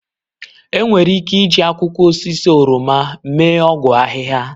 Enwere ike iji akwụkwọ osisi oroma mee ọgwụ ahịhịa.